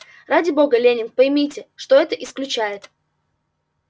ради бога лэннинг поймите что это исключает